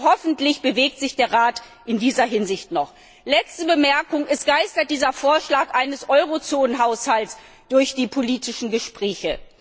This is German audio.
Hoffentlich bewegt sich der Rat in dieser Hinsicht noch! Letzte Bemerkung Es geistert dieser Vorschlag eines Eurozonenhaushalts durch die politischen Gespräche.